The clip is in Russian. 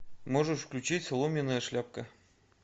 можешь включить соломенная шляпка